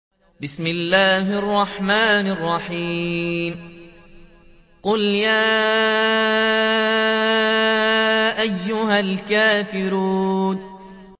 قُلْ يَا أَيُّهَا الْكَافِرُونَ